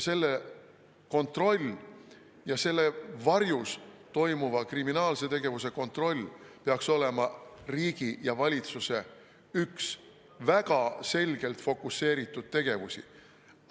Selle kontroll ja selle varjus toimuva kriminaalse tegevuse kontroll peaks olema riigi ja valitsuse üks väga selgelt fokuseeritud tegevusi.